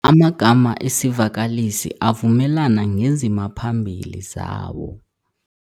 Amagama esivakalisi avumelana ngezimaphambili zawo.